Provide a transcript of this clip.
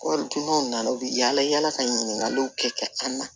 Waritigi ma na u bɛ yala yala ka ɲininkaliw kɛ an na